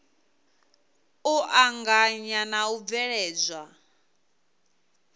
u anganya na u bveledzwa